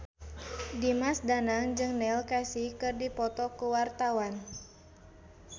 Dimas Danang jeung Neil Casey keur dipoto ku wartawan